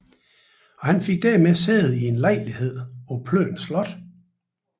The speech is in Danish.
Han fik dermed sæde i en lejlighed på Plön Slot